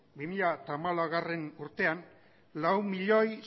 bi mila hamalaugarrena urtean lau milioi